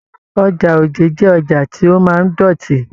Ọjà Òjé jẹ ọjà tí o máa n dọtí.